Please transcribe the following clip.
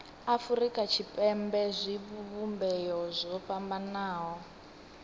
afurika tshipembe zwivhumbeo zwo fhambanaho